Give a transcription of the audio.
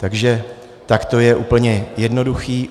Takže tak to je úplně jednoduché.